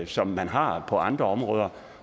som man har på andre områder